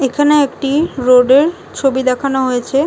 এখানে একটি রোড - এর ছবি দেখানো হয়েছে ।